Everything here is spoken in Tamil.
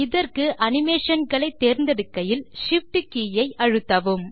இதற்கு அனிமேஷன் களை தேர்ந்தெடுக்கையில் Shift கே ஐ அழுத்தவும்